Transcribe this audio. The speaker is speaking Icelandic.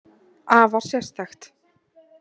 Afar sérstakt.